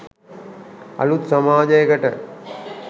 අලුත් සමාජයකට